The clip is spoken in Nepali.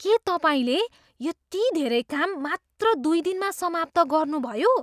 के तपाईँले यति धेरै काम मात्र दुई दिनमा समाप्त गर्नुभयो?